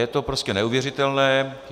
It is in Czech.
Je to prostě neuvěřitelné.